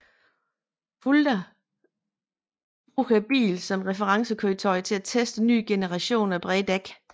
Fulda bruger bilen som referencekøretøj til at teste en ny generation af brede dæk